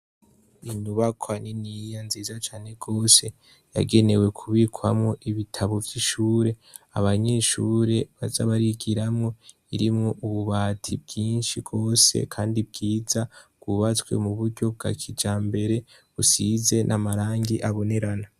Inyubakwa niniya nziza cane gose yagenewe kubikamwo ibitabu vyishure abanyeshure baza barigiramwo irimwo ububati bwinshi gose kandi bwiza bwubatswe muburyo bwa kijambere busize n'amarangi abonerana.